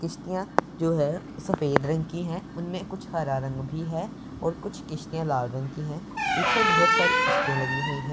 किश्तियां जो है सफेद रंग की है उनमें कुछ हरा रंग भी है और कुछ किश्तियां लाल रंग की हैं पीछे बहुत सारी किश्तियां लगी हुई हैं।